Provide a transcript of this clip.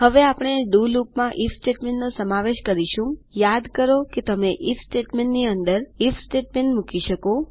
હવે આપણે ડીઓ લુપમાં આઇએફ સ્ટેટમેન્ટનો સમાવેશ કરીશુંયાદ કરો તમે આઇએફ સ્ટેટમેંનટ્સની અંદર આઇએફ સ્ટેટમેંનટ્સ મૂકી શકો